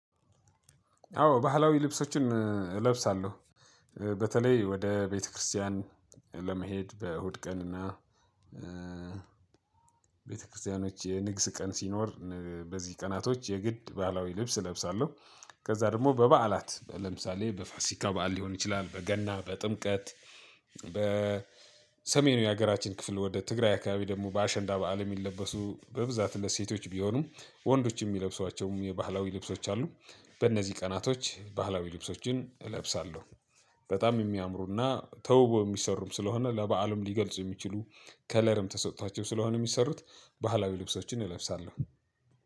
አዎ ባህላዊ ልብሶችን እለብሳለሁ። በተለይ ወደ ቤተክርስቲያን ለመሄድ በእሁድ ቀን እና ቤተክርስቲያኖች የንግስ ቀን ሲኖር በዚህ ቀናቶች የግድ ባህላዊ ልብስ እለብሳለሁ። ከዛ ደግሞ በባእላት ለምሳሌ በፋሲካ ባእል ሊሆን ይችላል በገና በጥምቀት በሰሜኑ የሀገራችን ክፍል ወደ ትግራይ አካባቢ ደግሞ በአሸንዳ በዓል የሚለበሱ በብዛት ለሴቶች ቢሆኑም ወንዶች የሚለብሷቸውም የባህላዊ ልብሶች አሉ። በእነዚህ ቀናቶች ባህላዊ ልብሶችን እለብሳለሁ። በጣም የሚያምሩና ተውበው የሚሰሩም ስለሆነ ለባእልም ሊገልፁ የሚችሉ ከለርም ተሰጥቷቸው ስለሆነ የሚሰሩት ባህላዊ ልብሶችን እለብሳለሁ።